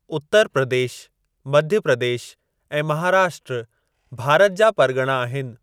उत्तर प्रदेश मध्य प्रदेश ऐं महाराष्ट्र भारत जा परॻणा आहिनि।